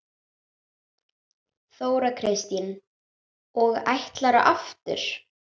Þóra Kristín: Og ætlarðu aftur?